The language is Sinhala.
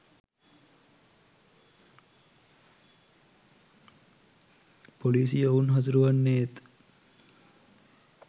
පොලිසිය ඔවුන් හසුරුවන්නේත්